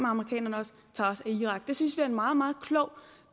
amerikanerne tager os af irak det synes vi er en meget meget klog